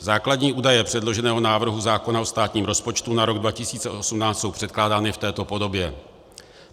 Základní údaje předloženého návrhu zákona o státním rozpočtu na rok 2018 jsou předkládány v této podobě.